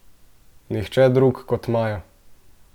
Nihče drug kot Maja!